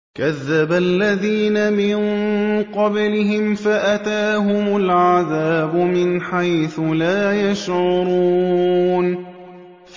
كَذَّبَ الَّذِينَ مِن قَبْلِهِمْ فَأَتَاهُمُ الْعَذَابُ مِنْ حَيْثُ لَا يَشْعُرُونَ